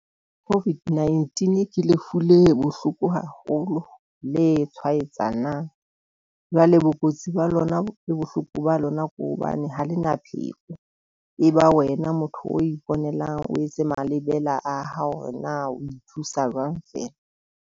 COVID-19 ke lefu le bohloko haholo le tshwaetsanang jwale bokotsi ba lona le bohloko ba lona. Ko hobane ha le na pheko, e ba wena motho o iponela o etse malebela a hao hore na o ithusa jwang feela.